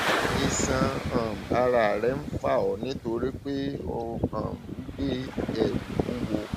iṣan um ara rẹ ń fà ọ nítorí pé ò um ń gbé um ẹrù wúwo